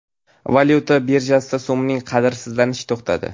Valyuta birjasida so‘mning qadrsizlanishi to‘xtadi.